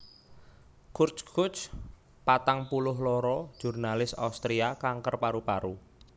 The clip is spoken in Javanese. Kurt Kuch patang puluh loro jurnalis Austria kanker paru paru